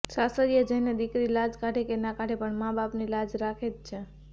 સાસરીયે જઈને દિકરી લાજ કાઢે કે ના કાઢે પણ માં બાપની લાજ રાખે જ છે